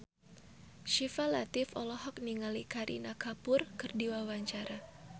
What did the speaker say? Syifa Latief olohok ningali Kareena Kapoor keur diwawancara